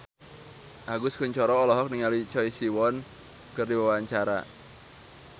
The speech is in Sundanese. Agus Kuncoro olohok ningali Choi Siwon keur diwawancara